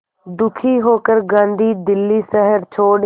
दुखी होकर गांधी दिल्ली शहर छोड़